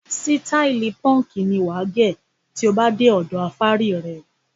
Sítáálì púńkì ni wà á gẹ̀ tí ó bá dé ọ̀dọ afárí rẹ.